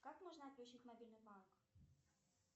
как можно отключить мобильный банк